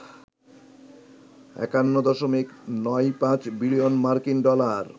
৫১.৯৫ billion মার্কিন dollar